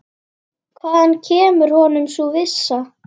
Hvaðan kemur honum sú vissa?